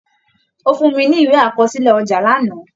Ó fún mi ní ìwé àkọsílẹ̀ ọjà lánàá